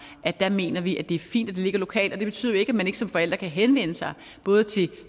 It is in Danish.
mener vi er fint ligger lokalt det betyder jo ikke at man som forælder ikke kan henvende sig både til